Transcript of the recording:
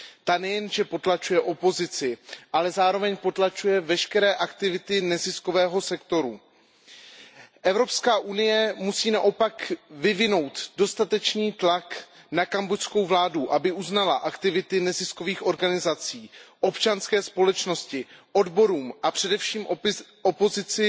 Ta nejenže potlačuje opozici, ale zároveň potlačuje veškeré aktivity neziskového sektoru. Evropská unie musí naopak vyvinout dostatečný tlak na kambodžskou vládu, aby uznala aktivity neziskových organizací a aby občanské společnosti, odborům a především opozici